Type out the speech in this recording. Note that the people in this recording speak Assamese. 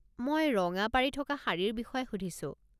মই ৰঙা পাৰি থকা শাড়ীৰ বিষয়ে সুধিছোঁ।